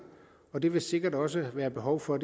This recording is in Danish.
og det vil der sikkert også være behov for